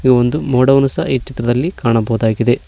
ಇದು ಒಂದು ಮೋಡವನ್ನು ಸಹ ಈ ಚಿತ್ರದಲ್ಲಿ ಕಾಣಬಹುದಾಗಿದೆ.